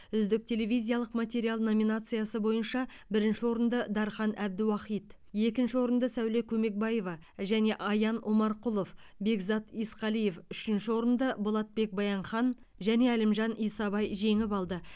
үздік телевизиялық материал номинациясы бойынша бірінші орынды дархан әбдіуахит екінші орынды сәуле көмекбаева және аян омарқұлов бекзат есқалиев үшінші орынды болатбек баянхан және әлімжан исабай жеңіп алды